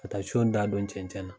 Ka taa siyon da don cɛncɛn na.